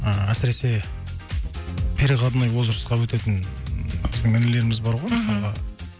ыыы әсіресе переходной возрастқа өтетін біздің інілеріміз бар ғой мхм мысалға